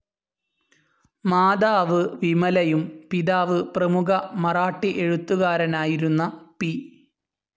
Mother വിമലയും പിതാവ് പ്രമുഖ മറാഠി എഴുത്തുകാരനായിരുന്ന പി.